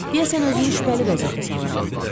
Deyəsən özümü şübhəli vəziyyətə salıram.